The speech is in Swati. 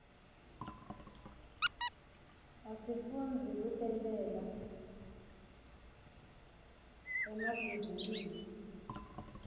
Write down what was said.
asifundzi kutentela emabhizinisi